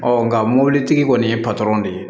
nka mobilitigi kɔni ye de ye